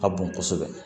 Ka bon kosɛbɛ